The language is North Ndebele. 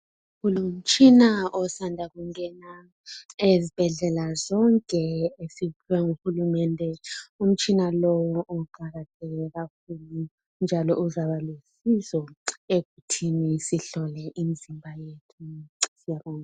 Kulomtshina osanda kungena ezibhedlela zonke ezikahulumende, umtshina lo uqakatheke kakhulu njalo uzaba lusizo ekuthini sihlole imzimba yethu.